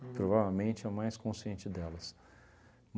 Provavelmente a mais consciente delas.